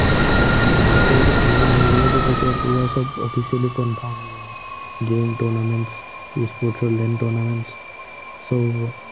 উম সেইটো unbanned হৈ গলেতো তেতিয়া পোৰা সৱ officially confirm হৈ যাব। game, tournaments e-sports ৰ lane tournaments সৱ হব।